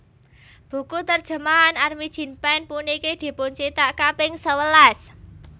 Buku terjemahan Armijn Pane puniki dipuncithak kaping sewelas